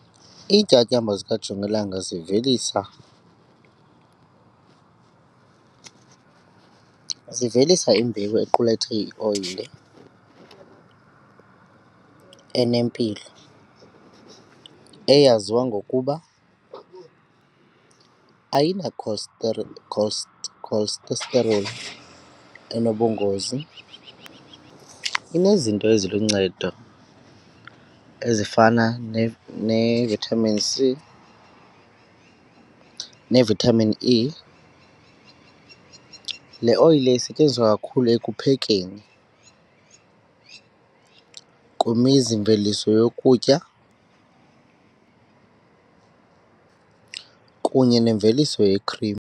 Iintyatyambo zikajongilanga zivelisa zivelisa imbewu equlethe ioyile enempilo eyaziwa ngokuba ayina-cholesterol enobungozi, inezinto eziluncedo ezifana ne-vitamin C ne-vitamin E. Le oyile isetyenziswa kakhulu ekuphekeni, kwimizimveliso yokutya kunye nemveliso ye-cream.